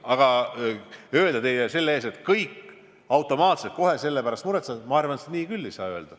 Aga et kõik automaatselt selle pärast muretsevad – ma arvan, et seda küll ei saa öelda.